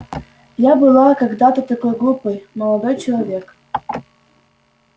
я была когда-то такой глупой молодой человек